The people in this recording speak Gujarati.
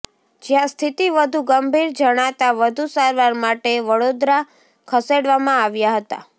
જ્યાં સ્થિતી વધુ ગંભીર જણાતા વધુ સારવાર માટે વડોદરા ખસેડવામાં આવ્યા હતા